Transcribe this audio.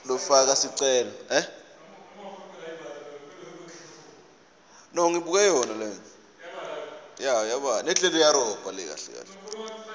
lomuntfu lofaka sicelo